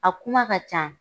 A kuma ka can